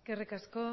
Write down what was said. eskerrik asko